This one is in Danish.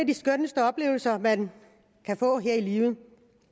de skønneste oplevelser man kan få her i livet